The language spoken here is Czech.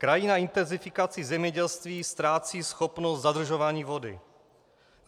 Krajina intenzifikací zemědělství ztrácí schopnost zadržování vody.